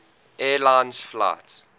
air lines flight